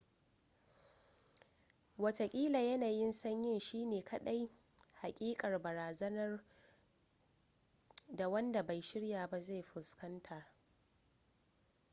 wataƙila yanayin sanyi shi ne kaɗai haƙiƙar barazanar da wanda bai shirya ba zai fuskanta